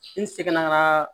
N segin na ka